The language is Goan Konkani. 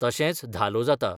तशेंच धालो जाता.